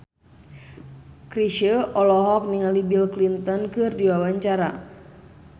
Chrisye olohok ningali Bill Clinton keur diwawancara